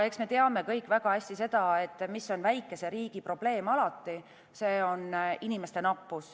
Eks me kõik teame väga hästi seda, mis on alati väikese riigi probleem – see on inimeste nappus.